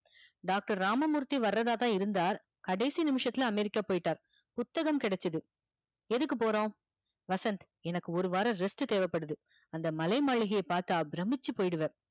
doctor Ramamurthy வரதா தா இருந்தார். கடைசி நிமிசத்துல அமெரிக்கா போய்ட்டார். புத்தகம் கிடைச்சிது எதுக்கு போறோம் வசந்த் எனக்கு ஒரு வாரம் rest தேவப்படுது அந்த மலைமாளிகை பாத்தா பிரமிச்சிப் போய்டுவா